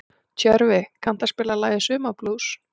Tjörfi, kanntu að spila lagið „Sumarblús“?